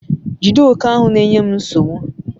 jide oke ahu nenye m nsogbu